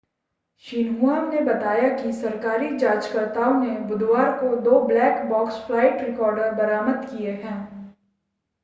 Xinhua ने बताया कि सरकारी जांचकर्ताओं ने बुधवार को दो ब्लैक बॉक्स फ़्लाइट रिकॉर्डर बरामद किए हैं